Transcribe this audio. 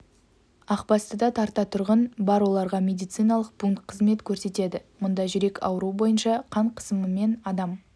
ақбастыда тарта тұрғын бар оларға медициналық пункт қызмет көрсетеді мұнда жүрек ауруы бойынша қан қысымымен адам